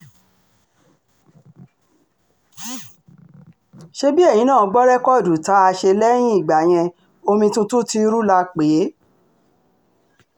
ṣebí eyín náà gbọ́ rẹ́kọ́ọ̀dù tá a ṣe lẹ́yìn ìgbà yẹn omi tuntun ti ru la pè é